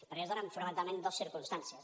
perquè es donen fonamentalment dos circumstàncies